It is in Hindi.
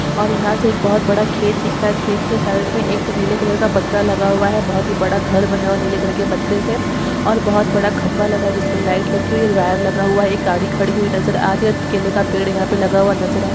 और यहा से एक बहुत बडा खेत दिख रहा है खेत के साइड मे एक नीले कलर का पत्रा लगा हुआ है बहुत ही बड़ा घर बना हुआ है नीले कलर के पत्रे से और बहुत बड़ा खंबा लगा है जिसमे लाइट लगी हुई है और वायर लगा हुआ है एक गाड़ी खड़ी हुई नजर आ रही है और केले का पेड़ यहा पे लगा हुआ नजर आ--